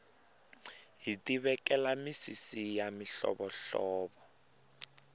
hiti vekela misisi ya mihlovo hlovo